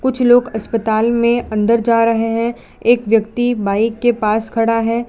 कुछ लोग अस्पताल में अंदर जा रहे हैं एक व्यक्ति बाइक के पास खड़ा है।